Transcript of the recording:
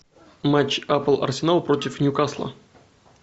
матч апл арсенал против ньюкасла